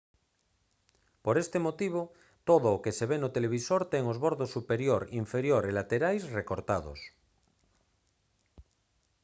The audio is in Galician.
por ese motivo todo o que se ve no televisor ten os bordos superior inferior e laterais recortados